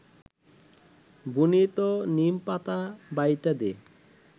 বুনিত নিমপাতা বাইটা দে